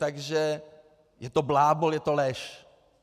Takže je to blábol, je to lež.